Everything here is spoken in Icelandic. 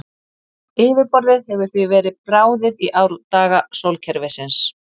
Yfirborðið hefur því verið bráðið í árdaga sólkerfisins.